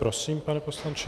Prosím, pane poslanče.